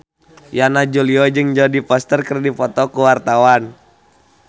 Yana Julio jeung Jodie Foster keur dipoto ku wartawan